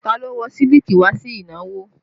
Ta ló wọ̀ sílíkì wá sí ìnáwó?